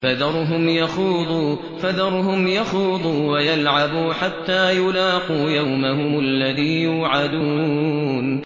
فَذَرْهُمْ يَخُوضُوا وَيَلْعَبُوا حَتَّىٰ يُلَاقُوا يَوْمَهُمُ الَّذِي يُوعَدُونَ